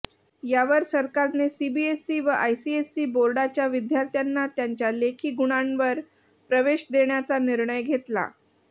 यावर सरकारने सीबीएसई व आयसीएसई बोर्डाच्या विद्यार्थ्यांना त्यांच्या लेखी गुणांवर प्रवेश देण्याचा निर्णय घेतला